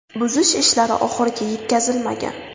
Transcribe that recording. Buzish ishlari oxiriga yetkazilmagan.